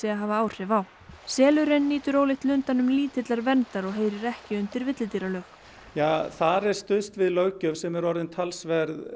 að hafa áhrif á selurinn nýtur ólíkt lundanum lítillar verndar og heyrir ekki undir villidýralög þar er stuðst við löggjöf sem er orðin talsvert